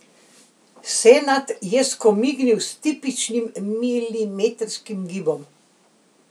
Senad je skomignil s tipičnim milimetrskim gibom.